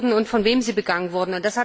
und von wem sie begangen wurde.